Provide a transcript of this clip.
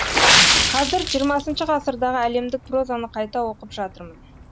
қазір хх ғасырдағы әлемдік прозаны қайта оқып жатырмын